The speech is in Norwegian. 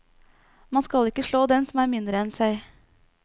Man skal ikke slå den som er mindre enn seg.